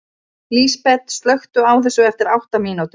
Lísbet, slökktu á þessu eftir átta mínútur.